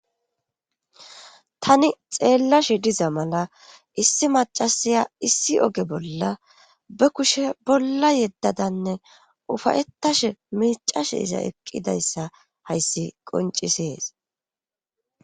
tani xeellashe diza mala issi macasiya issi oge bolla be kushe bolla yeddadanne ufayettashe miicashe iza eqqidayssa hayssi qoncisees